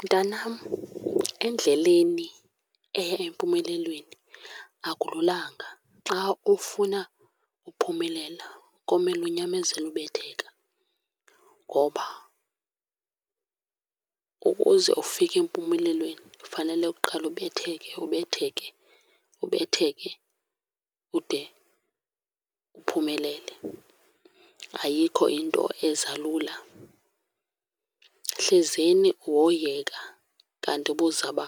Mntanam, endleleni eya empumelelweni akululanga. Xa ufuna uphumelela komela unyamezele ubetheka ngoba ukuze ufike empumelelweni fanele uqale ubetheke, ubetheke, ubetheke ude uphumelele. Ayikho into eza lula. Hlezeni woyeka kanti ubuzaba